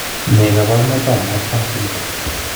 Ne kaabarunetap Marfan syndrome?